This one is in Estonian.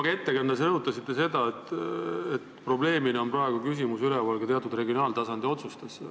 Oma ettekandes te rõhutasite seda, et praegu on üleval ka küsimus teatud regionaaltasandi otsustest.